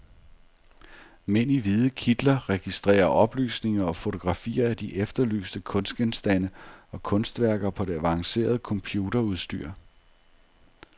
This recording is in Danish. Mænd i hvide kitler registrerer oplysninger og fotografier af de efterlyste kunstgenstande og kunstværker på det avancerede computerudstyr.